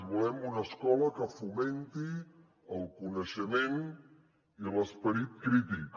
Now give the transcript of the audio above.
volem una escola que fomenti el coneixement i l’esperit crític